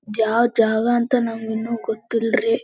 ಯಾವ್ ಜಾಗ ಅಂತ ನಮ್ಗ್ ಇನ್ನು ಗೊತ್ತಿಲ್ರಿ-